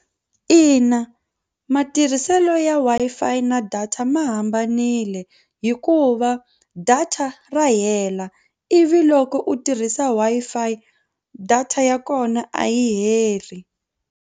Ina matirhiselo ya Wi-Fi na data ma hambanile hikuva data ra hela ivi loko u tirhisa Wi-Fi data ya kona a yi heli.